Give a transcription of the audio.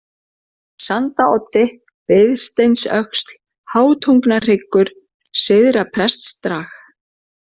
Sandaoddi, Biðsteinsöxl, Háutungnahryggur, Syðra-Prestdrag